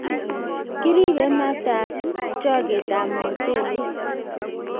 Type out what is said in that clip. Kiribe matab choketab mochelek.